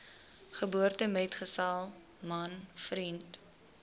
geboortemetgesel man vriend